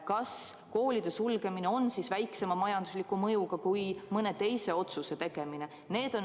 Kas koolide sulgemine on väiksema majandusliku mõjuga kui mõne teise otsuse tegemine?